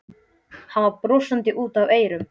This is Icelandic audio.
Hann var brosandi út að eyrum.